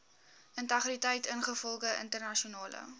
integriteit ingevolge internasionale